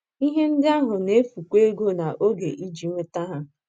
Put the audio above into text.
Ihe ndị ahụ na - efukwa ego na oge iji nweta ha.